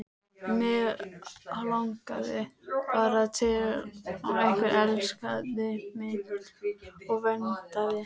Mig langaði bara til að einhver elskaði mig og verndaði.